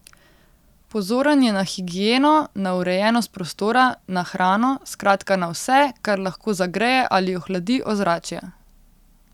Pozoren je na higieno, na urejenost prostora, na hrano, skratka na vse, kar lahko zagreje ali ohladi ozračje.